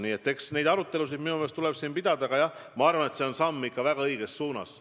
Nii et arutelusid tuleb pidada, aga jah, ma arvan, et see on samm ikka väga õiges suunas.